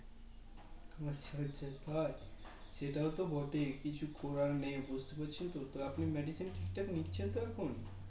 আচ্ছা আচ্ছা তাই সেটাও তো বটে কিছু করার নেই বুজতে পারছেন তো তাহলে আপনি Medicine ঠিক ঠাক নিচ্ছেন তো এখন